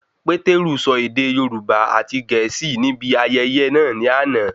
Pétérù sọ ède Yorùbá àti Gẹ̀ẹ́sì ní ibi ayẹyẹ náà ní àna